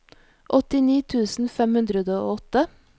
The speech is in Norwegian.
åttini tusen fem hundre og åtte